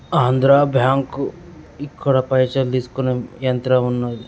ఆంధ్రాబ్యాంక్ ఇక్కడ పైసలు తీసుకొనే యంత్రం ఉన్నది.